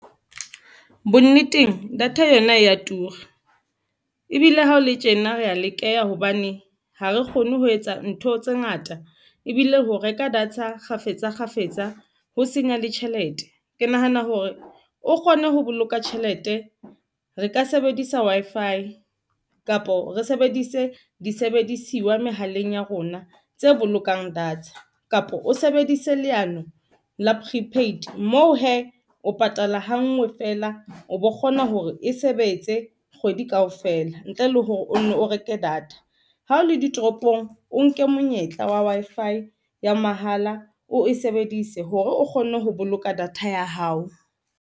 Bonneteng data yona ya tura ebile ha o le tjena re ya lekeha hobane ha re kgone ho etsa ntho tse ngata ebile ho reka data kgafetsa, kgafetsa ho senya le tjhelete, ke nahana hore o kgone ho boloka tjhelete. Re ka sebedisa Wi-fi kapo re sebedise disebedisiwa mehaleng ya rona tse bolokang data kapa o sebedise leano la Prepaid moo hee.O patala ha nngwe feela, o bo kgona hore e sebetse kgwedi kaofela ntle le hore o nne o reke data. Ha o le ditoropong, o nke monyetla wa Wi-Fi ya mahala o e sebedise hore o kgone ho boloka data ya hao.